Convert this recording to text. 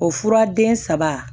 O fura den saba